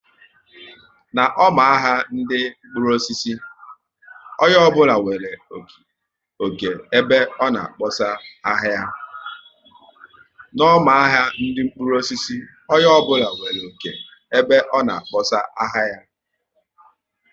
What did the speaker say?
N' ọma ahia ndị mkpụrụ osisi, onye ọ bụla nwere oké ebe ọ na kpọsaa ahịa ya